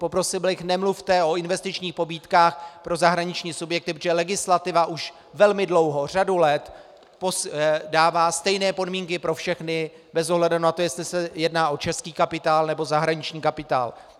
Poprosil bych, nemluvte o investičních pobídkách pro zahraniční subjekty, protože legislativa už velmi dlouho, řadu let dává stejné podmínky pro všechny bez ohledu na to, jestli se jedná o český kapitál, nebo zahraniční kapitál.